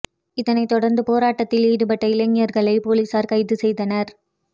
இதனை தொடர்ந்து போராட்டத்தில் ஈடுபட்ட இளைஞர்களை போலீசார் கைது செய்தனர்